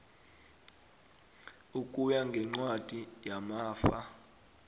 ukuya ngencwadi yamafa